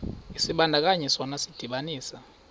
isibandakanyi sona sidibanisa